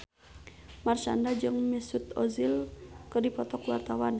Marshanda jeung Mesut Ozil keur dipoto ku wartawan